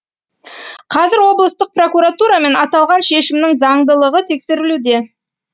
қазір облыстық прокуратурамен аталған шешімнің заңдылығы тексерілуде